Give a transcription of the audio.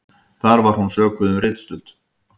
Þar var hún sökuð um ritstuld